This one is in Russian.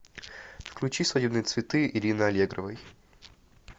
включи свадебные цветы ирины аллегровой